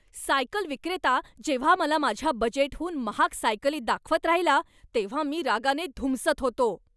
Cycle विक्रेता जेव्हा मला माझ्या बजेटहून महाग सायकली दाखवत राहिला तेव्हा मी रागाने धुमसत होतो.